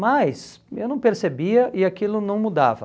Mas eu não percebia e aquilo não mudava.